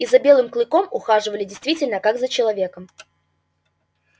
и за белым клыком ухаживали действительно как за человеком